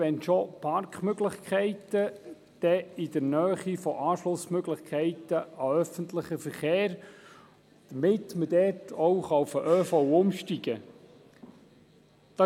Wenn schon Parkmöglichkeiten, dann in der Nähe von Anschlussmöglichkeiten an den öffentlichen Verkehr, damit man dort auch auf den ÖV umsteigen kann.